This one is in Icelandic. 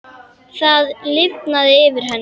Það lifnar yfir henni.